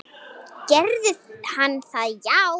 Gerði hann það já?